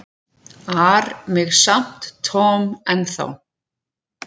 ar mig samt Tom ennþá.